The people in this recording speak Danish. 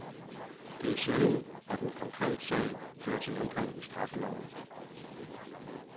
Det er sjældent, at en konkret sag fører til ændring i straffeloven.